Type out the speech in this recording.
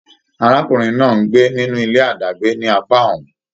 Arákùnrin náà n gbé nínú ilé adàgbè ni apá ọ́hún.